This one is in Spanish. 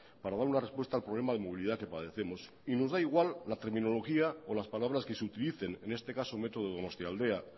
para dar una respuesta al problema de movilidad que padecemos y nos da igual la terminología o las palabras que se utilicen en este caso metro donostialdea